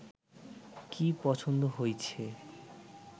কী, পছন্দ হইছে